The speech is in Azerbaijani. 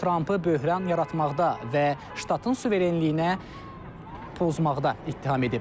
O Trampı böhran yaratmaqda və ştatın suverenliyinə pozmaqda ittiham edib.